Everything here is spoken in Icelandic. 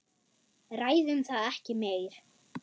Ræðum það ekki meir.